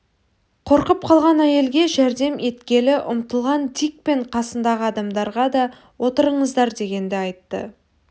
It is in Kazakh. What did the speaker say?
қорқып қалған әйелге жәрдем еткелі ұмтылған дик пен қасындағы адамдарға да отырыңыздар дегенді айтты